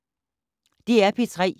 DR P3